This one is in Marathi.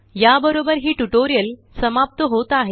या बरोबर हिटुटोरिअलसमाप्त होत आहे